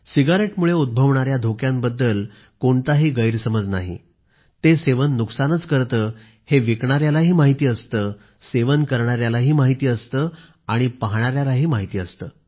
सिगरेटमुळे उद्भवणाऱ्या धोक्यांबद्दल कोणताही गैरसमज नाही ते सेवन नुकसानच करते हे विकणाऱ्यालाही माहिती असते सेवन करणाऱ्यालाही माहिती असते आणि पाहणाऱ्यालाही माहिती असते